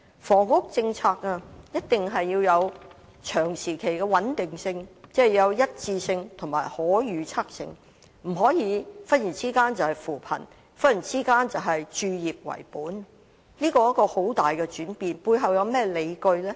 房屋政策一定要有長時期的穩定性，即要有一致性及可預測性，不能忽然是扶貧，忽然是以置業為本，這是非常大的轉變，究竟背後有何理據？